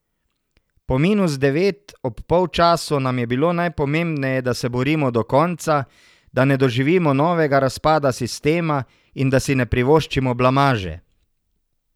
Po minus devet ob polčasu nam je bilo najpomembneje, da se borimo do konca, da ne doživimo novega razpada sistema in da si ne privoščimo blamaže.